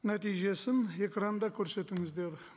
нәтижесін экранда көрсетіңіздер